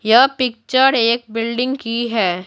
यह पिक्चर एक बिल्डिंग की है।